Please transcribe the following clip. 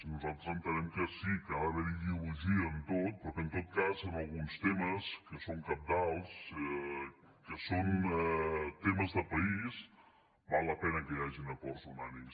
nosaltres entenem que sí que ha d’haver hi ideologia en tot però que en tot cas en alguns temes que són cabdals que són temes de país val la pena que hi hagin acords unànimes